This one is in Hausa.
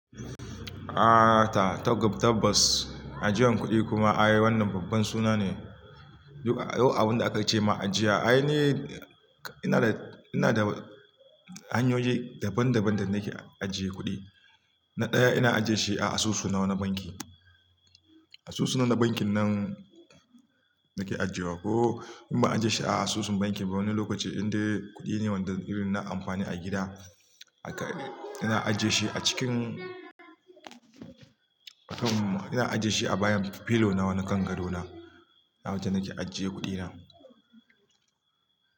Ah ta, tag- tabas, ajiyan kuɗi kuma ai wannan babban suna ne. Duba, yau abunda aka ce ma ajiya, ai ni, ina da, ina da hanyoyi daban daban da nake ajiye kuɗi. Na ɗaya ina ajiye shi a asusu na na banki. Asusu na, na bankin nan nake ajiyewa ko in ban ajiye shi a asusun banki ba wani lokaci indai kuɗi ne wanda irin na amfani a gida aka, ina ajiye shi a cikin, kafin ina ajiye shi a bayan pillow na wani kan gado na. Awajen nake ajiye kuɗi na.